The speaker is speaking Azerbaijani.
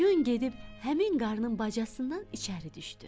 Yun gedib həmin qarnın bacasından içəri düşdü.